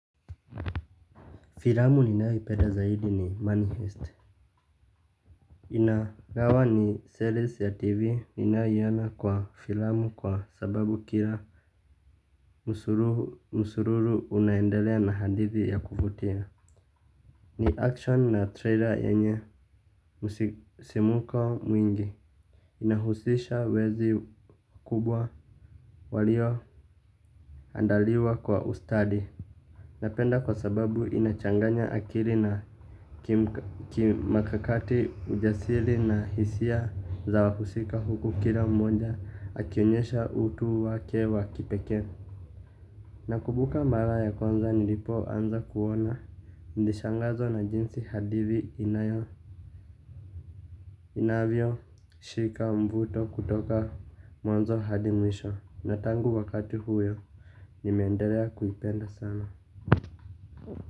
Filamu ninayoipenda zaidi ni money fest. Inagawa ni series ya tv inayiona kwa filamu kwa sababu kila musururu unaendelea na hadithi ya kuvutia. Ni action na trailer yenye musimuko mwingi. Inahusisha wezi kubwa walio andaliwa kwa ustadi. Napenda kwa sababu inachanganya akili na kimakakati ujasiri na hisia za wahusika huku kila mmoja akionyesha utu wake wakipeke. Nakumbuka mara ya kwanza nilipo anza kuona nilishangazwa na jinsi hadithi inayo inavyo shika mvuto kutoka mwanzo hadi mwisho. Na tangu wakati huyo nimeendelea kuipenda sana.